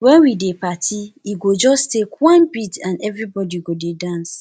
wen we dey party e go just take one beat and everybody go dey dance